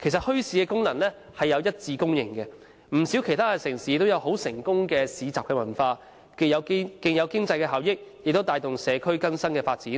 其實，墟市的功能已獲一致公認，不少城市都有很成功的市集文化，既有經濟效益，亦帶動社區更新發展，